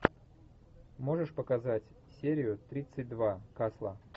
можешь показать серию тридцать два касла